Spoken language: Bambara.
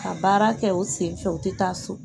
Ka baara kɛ u sen fɛ u ti taa so